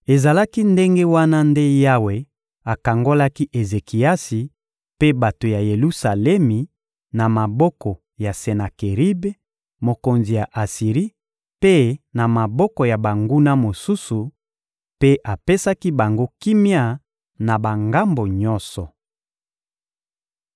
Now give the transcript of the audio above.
Ezalaki ndenge wana nde Yawe akangolaki Ezekiasi mpe bato ya Yelusalemi na maboko ya Senakeribe, mokonzi ya Asiri, mpe na maboko ya banguna mosusu; mpe apesaki bango kimia na bangambo nyonso.